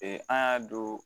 an y'a don